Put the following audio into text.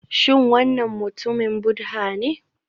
Shin wannan mutumin Buddha ne?